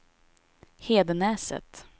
Hedenäset